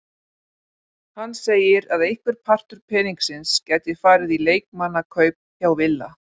Hann segir að einhver partur peningsins gæti farið í leikmannakaup hjá Villa.